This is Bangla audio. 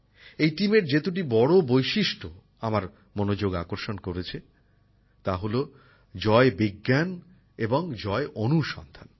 এই দলের যে দুটি বড় বৈশিষ্ট্য আমার মনোযোগ আকর্ষণ করেছে তা হল জয় বিজ্ঞান এবং জয় অনুসন্ধান